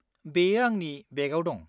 बेयो आंनि बेगआव दं।